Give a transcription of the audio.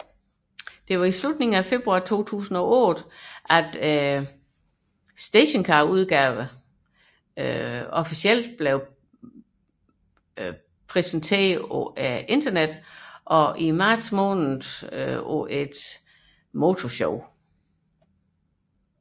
I slutningen af februar 2008 præsenteredes stationcarudgaven Avant officielt på internettet og i marts på Geneve Motor Show